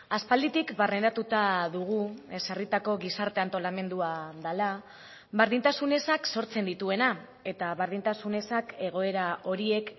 aspalditik barneratuta dugu ezarritako gizarte antolamendua dela berdintasun ezak sortzen dituena eta berdintasun ezak egoera horiek